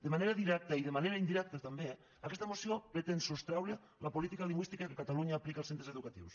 de manera directa i de manera indirecta també aquesta moció pretén sostreure la política lingüística que catalunya aplica als centres educatius